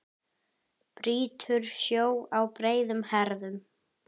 Brýtur sjó á breiðum herðum.